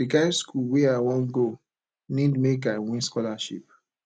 di kind skool wey i wan go need make i win scholarship